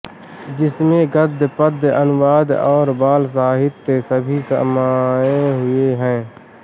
जिसमें गद्य पद्य अनुवाद और बाल साहित्य सभी समाए हुए हैं